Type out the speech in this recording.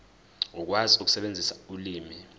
ukwazi ukusebenzisa ulimi